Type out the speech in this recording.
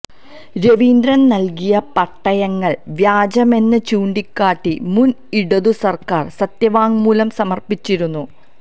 രവീന്ദ്രൻ നൽകിയ പട്ടയങ്ങൾ വ്യാജമെന്ന് ചൂണ്ടിക്കാട്ടി മുൻ ഇടതു സർക്കാർ സത്യവാങ്മൂലം സമർപ്പിച്ചിരുന്നു